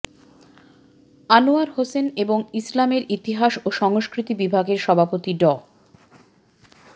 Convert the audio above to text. আনোয়ার হোসেন এবং ইসলামের ইতিহাস ও সংস্কৃতি বিভাগের সভাপতি ড